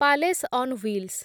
palace on wheels